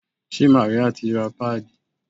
Ṣé Màríà ti ra páàdì?